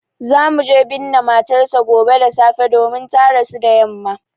Za mu je binne matar sa gobe da safe domin ta rasu da yamma